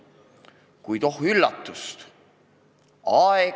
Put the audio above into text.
Kuid oh üllatust!